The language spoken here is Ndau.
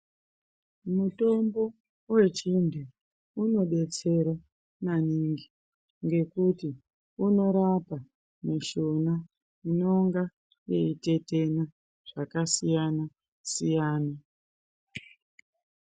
Mutombo wechintu unodetsere maningi ngekuti unkrapa mushuna inonga yeitetwna zvakasiyana siyana.